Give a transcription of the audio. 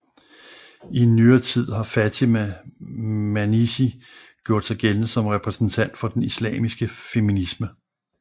I nyere tid har Fatema Mernissi gjort sig gældende som repræsentant for den islamiske feminisme